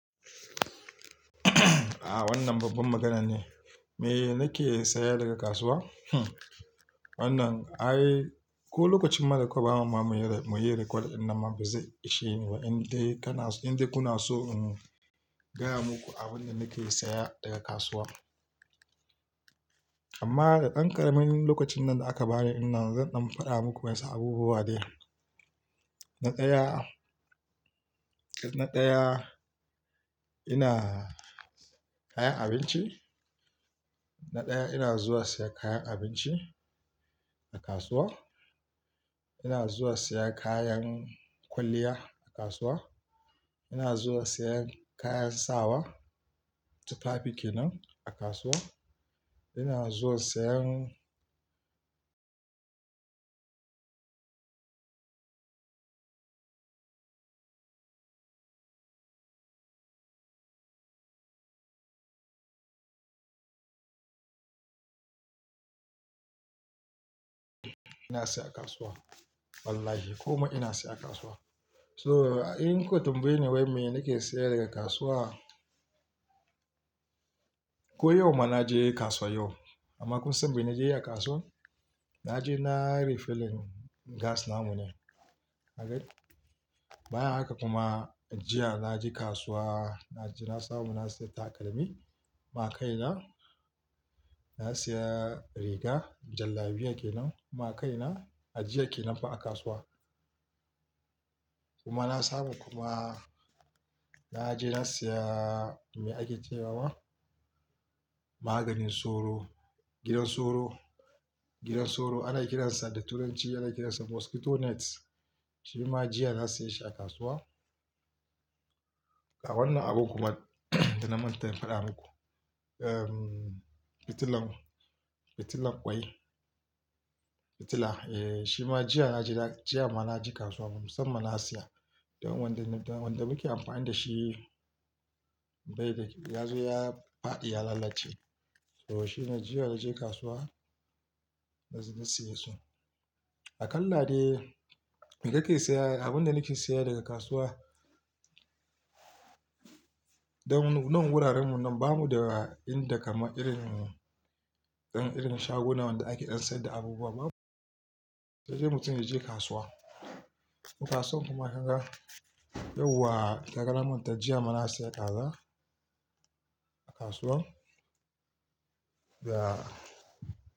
Ah wannan babbar magana ne. Me nake sayar daga kasuwa? Hmm wannan ai ko lokacin mara kwaba ma muyi record in nan ma bazai ishe ni ba. In dai kana, in dai kuna so in gaya muku abin da nake saya daga kasuwa. Amma da ɗan ƙaramin lokacin nan da aka bani ina zan ɗan faɗa muku wasu abubuwa dai. Na ɗaya, na ɗaya ina kayan abinci. Na ɗaya ina zuwa saya kayan abinci a kasuwa. Ina zuwa saya kayan kwalliya a kasuwa. Ina zuwa saya kayan sawa tufafi kenan a kasuwa. Ina zuwa sayan, ina siya a kasuwa. Wallahi komai ina siya a kasuwa. So in kotun bai ne wai me nake saya daga kasuwa. Ko yau ma na je kasuwa yau amma kun san me na je a kasuwa? Na je na yi refilling gas namu ne. Okay? Bayan haka kuma jiya na je kasuwa na je na samu na siya takalmi ma kaina. Na siya riga jallabiya kenan ma kaina a jiya kenan fa a kasuwa. Kuma na samu kuma na je na siya me ake ce wa? Maganin soro, gidan soro. Gidan soro ana kiransa da turanci ana kiransa mosquito net. Shi ma jiya na siya shi a kasuwa. Ga wannan abun kuma da na manta in faɗa muku. Ehm fitilan, fitilan kwai. Fitila eh shi ma jiya na je jiya ma na je kasuwa musamman na siya. Don wanda muke amfani da shi bai da, ya zo ya faɗi ya lalace. So shi ne jiya na je kasuwa na je na siya su. A kalla dai me kake saya? Abin da nake saya daga kasuwa don wurarenmu nan ba mu da inda kaman irin ɗan irin shaguna wanda ake ɗan saida abubuwa babu. Sai dai mutum ya je kasuwa. Kasan kuma haka yau wa takara mun ta jiya mu na siya kaza a kasuwa. Ya.